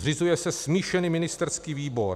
Zřizuje se smíšený ministerský výbor.